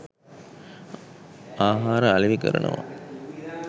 ආහාර අලෙවි කරනවා.